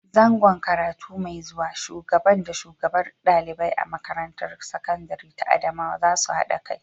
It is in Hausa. Zango karatu mai zuwa Shubagan da shugabar ɗalibai a makarantar sakandire ta Adamawa za su haɗa kai.